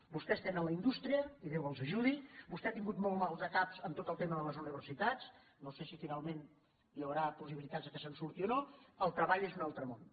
vostès tenen indústria i déu els ajudi vostè ha tingut molts maldecaps amb tot el tema d’universitats no sé si finalment hi haurà possibilitats que se’n surti o no treball és un altre món